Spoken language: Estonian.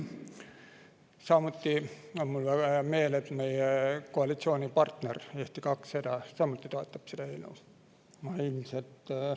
Samuti on mul väga hea meel, et meie koalitsioonipartner Eesti 200 samuti toetab seda eelnõu.